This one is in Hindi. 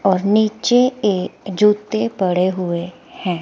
और नीचे ये जूतें पड़े हुए हैं।